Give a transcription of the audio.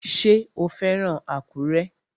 Ṣé o fẹ́ràn Àkúrẹ́?